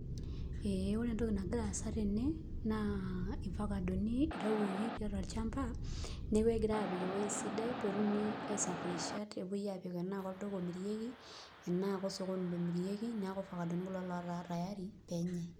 Ee ore entoki nagira aasa tene naa irfakadoni itayuoki tolchamba neeku kegirai aapik ewueji sidai pee etumi aisafirisha pee epuoi aapik enaa olduka omirieki enaa kosokoni omirieki, neeku fakadoni kulo ootaa tayari pee enayai.